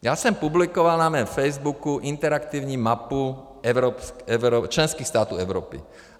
Já jsem publikoval na mém Facebooku interaktivní mapu členských států Evropy.